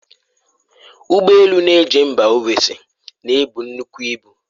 Ụgbo elu na-eje mba ofesi na-ebu nnukwu ibu.